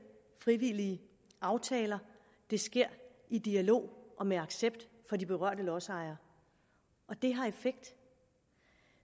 frivillige aftaler det sker i dialog og med accept fra de berørte lodsejere og det har effekt